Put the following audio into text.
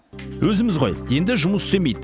өзіміз ғой енді жұмыс істемейді